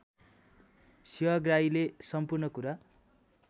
सेवाग्राहीले सम्पूर्ण कुरा